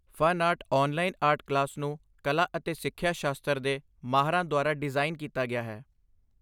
Fun art online art class ਨੂੰ ਕਲਾ ਅਤੇ ਸਿੱਖਿਆ ਸ਼ਾਸਤਰ ਦੇ ਮਾਹਰਾਂ ਦੁਆਰਾ ਡਿਜ਼ਾਈਨ ਕੀਤਾ ਗਿਆ ਹੈ।